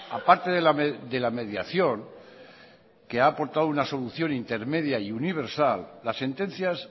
a parte de la mediación que ha aportado una solución intermedia y universal las sentencias